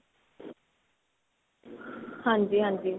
ਹਾਂਜੀ ਹਾਂਜੀ.